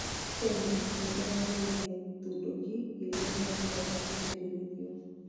Kenya nĩ ĩrageririe nduthoki ĩria ĩtangĩhota kũgirĩrĩrio